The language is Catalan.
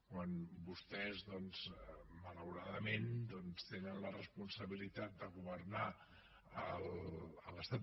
quan vostès doncs malauradament tenen la responsabilitat de governar a l’estat